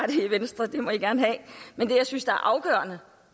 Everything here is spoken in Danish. i venstre det må i gerne have men det jeg synes er afgørende